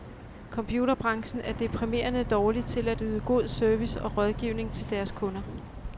Computerbranchen er deprimerende dårlig til at yde god service og rådgivning til deres kunder.